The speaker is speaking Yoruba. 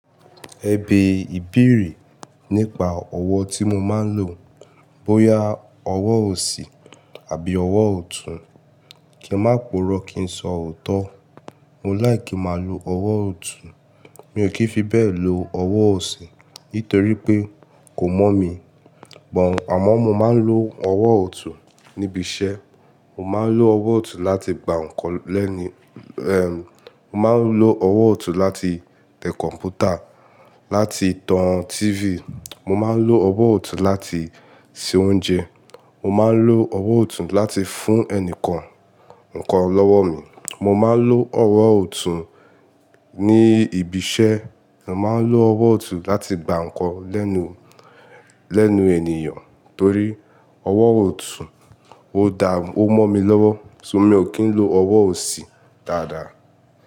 Ẹ̀bẹ̀ ìbèèrè nípa ọ̀wọ̀ tí mo máa n lò. Bóyá ọ̀wọ̀ òsì àbí ọ̀wọ̀ ọ̀tún, kí n má puró kí n sọ ọ̀tọ̀. Mo like máa lò ọ̀wọ̀ ọ̀tún, mi ò kí ń fi bẹ́ẹ̀ lò ọ̀wọ̀ òsì nítorí pé kò mọ́ mi. But àmọ́ mo máa n lò ọ̀wọ̀ ọ̀tún níbi iṣẹ́. Mo máa n lò ọ̀wọ̀ ọ̀tún láti gbà ǹkan lẹ́nu, mo máa n lò ọ̀wọ̀ ọ̀tún láti tẹ kọ̀m̀pútà, láti tan tífì. Mo máa n lò ọ̀wọ̀ ọ̀tún láti se oúnjẹ. Mo máa n lò ọ̀wọ̀ ọ̀tún láti fún ẹni kan ǹkan lọ́wọ́ mi. Mo máa n lò ọ̀wọ̀ ọ̀tún ní ibi iṣẹ́. Mo máa n lò ọ̀wọ̀ ọ̀tún láti gbà ǹkan lẹ́nu, lẹ́nu ènìyàn torí ọ̀wọ̀ ọ̀tún ó daá, ó mọ́ mi lọ́wọ́. Ṣo mi ò kí ń lò ọ̀wọ̀ òsì dáadáa.